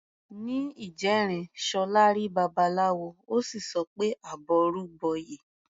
Ní ìjẹrin, Ṣọlá rí Babaláwo, ó sì sọ pé "àbọrú bọyè".